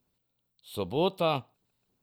Sobota.